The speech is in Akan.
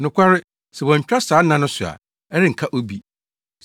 “Nokware, sɛ wɔantwa saa nna no so a, ɛrenka obi.